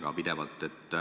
Ja ma arvan, et see ongi õige.